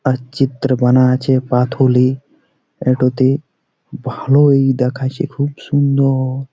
আর চিত্র বানা আছে। পাথুলিএটোতে ভালো-ও-ই দেখাছে খুব সুন্দর-অ ।